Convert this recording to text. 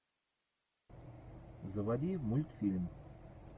заводи мультфильм